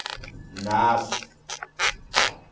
naas